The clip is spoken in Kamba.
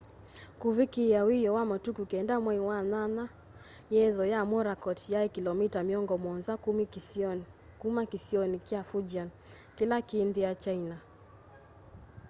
kuvikiia wioo wa matuku 9 mwai wa nyanya yetho ya morakot yai kilomita miongo muonza kuma kĩsionĩ kya fujian kĩla kĩ nthĩ ya china